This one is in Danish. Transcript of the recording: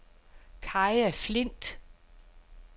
Kaja Flindt